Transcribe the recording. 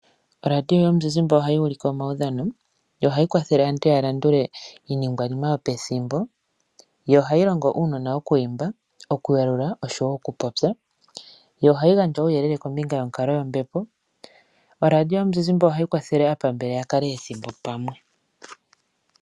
Oradio yomuzizimbe ohayi ulike omaudhano, yo ohayi kwathele aantu ya landule iiningwanima yopethimbo, yo ohayi longo uunona okwiimba, oku yalula oshowo oku popya, yo ohayi gandja uuyelele kombinga yonkaloyombepo. Oradio yomuzizimbe ohayi kwathele aapambele ya kale ethimbo pamwe.